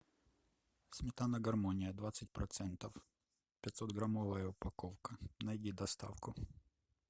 сметана гармония двадцать процентов пятьсот граммовая упаковка найди доставку